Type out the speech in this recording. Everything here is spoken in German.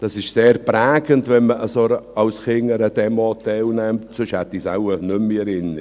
Es ist sehr prägend, wenn man als Kind an einer solchen Demo teilnimmt, sonst hätte ich es wohl nicht mehr in Erinnerung.